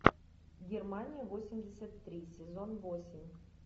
германия восемьдесят три сезон восемь